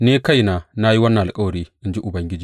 Ni kaina na yi wannan alkawari, in ji Ubangiji.’